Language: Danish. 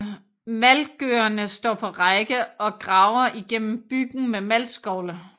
Maltgørerne står på række og graver igennem byggen med maltskovle